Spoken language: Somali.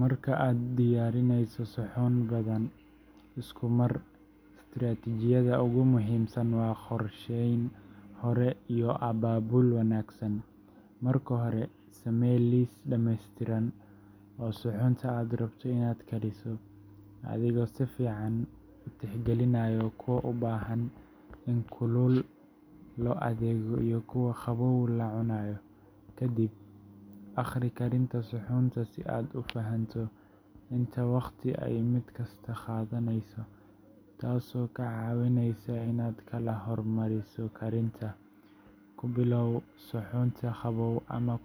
Marka aad diyaarinayso suxuun badan isku mar, istaraatijiyadda ugu muhiimsan waa qorsheyn hore iyo abaabul wanaagsan. Marka hore, samee liis dhamaystiran oo suxuunta aad rabto inaad kariso, adigoo si fiican u tixgelinaya kuwa u baahan in kulul loo adeego iyo kuwa qabow la cunayo. Kadib, akhri karinta suxuunta si aad u fahanto inta waqti ay mid kasta qaadanayso, taasoo kaa caawinaysa inaad kala hormariso karinta. Ku bilow suxuunta qabow ama